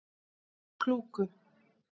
Klúku